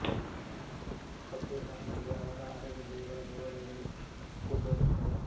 ಹಟ್ಟಿಗಳ ನಡುವೆ ಅವರ ಆರಾಧ್ಯ ದೈವಗಳ ದೇವಾಲಯಗಳು ಗುಬ್ಬ ಇರುತ್ತವೆ